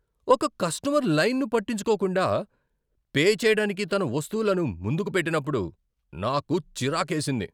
ఒక కస్టమర్ లైన్ను పట్టించుకోకుండా పే చేయడానికి తన వస్తువులను ముందుకు పెట్టినప్పుడు నాకు చిరాకేసింది.